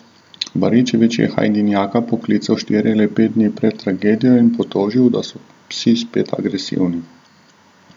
Baričevič je Hajdinjaka poklical štiri ali pet dni pred tragedijo in potožil, da so psi spet agresivni.